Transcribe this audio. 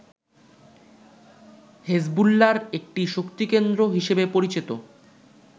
হেজবুল্লাহর একটি শক্তিকেন্দ্র হিসেবে পরিচিত